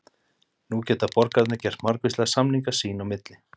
Nú geta borgararnir gert margvíslega samninga sín í milli.